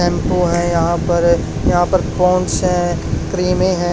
Tempo है यहां पर यहां पर से क्रीम है।